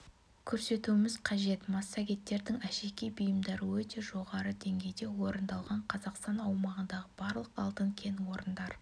көрсетуіміз қажет массагеттердің әшекей бұйымдары өте жоғары деңгейде орындалған қазақстан аумағындағы барлық алтын кен орындар